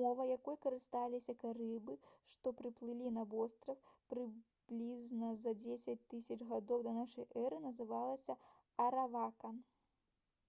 мова якой карысталіся карыбы што прыплылі на востраў прыблізна за 10 000 гадоў да н э называлася аравакан